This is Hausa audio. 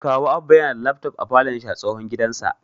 Kawu Abba yana da lafton a falon shi a tsohon gidansa